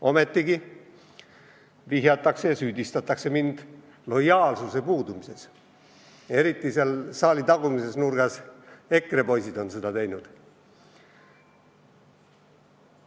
Ometigi süüdistatakse mind lojaalsuse puudumises, eriti on seda teinud saali tagumises nurgas istuvad EKRE poisid.